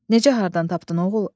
Necə hardan tapdın oğul?